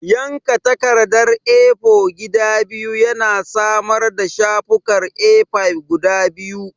Yanka takardar A4 gida biyu yana samar da shafukan A5 guda biyu.